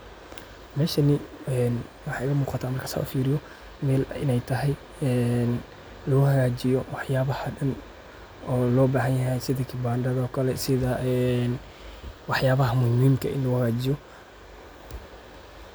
Meshani ee waxay imugata markan sas ufiriyo mel inay tahay een laguhagajiyo waxyabaha daan oo lobahanyaxay sidha kibanda oo kale sidha waxyabaha muxiimka ah ini laguhagajiyo.